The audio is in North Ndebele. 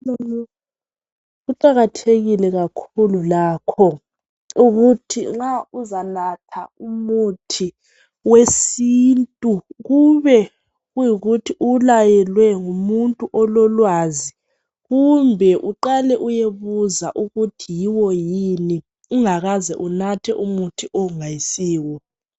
Kuqakathekile kakhulu lakho ukuthi nxa uzanatha umuthi wesintu kube kuyikuthi uwulayelwe ngumuntu ololwazi .kumbe uqale uyebuza ukuthi yiwo yini ungakaze unathe umuthi ongayisiwo.